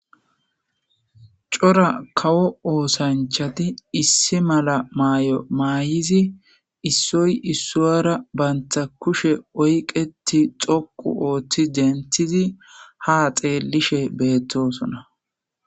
Cora kawo oosanchati issi mala maay'o maay'izi issoy issuyara bantha kushe oyqeti xokku ooththi denthizi ha xeellishe beettosona.